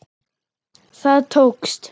Það tókst.